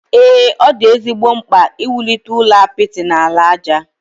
Ee, ọ dị ezigbo mkpa iwulite ụlọ apịtị na ala aja.